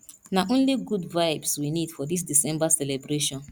na only good vibes we need for dis december celebration